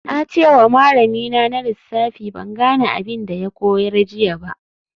Na ce wa malamina na lissafi ban gane abin da ya koyar jiya ba